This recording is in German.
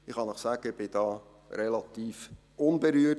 Ich kann Ihnen sagen, ich bin davon relativ unberührt.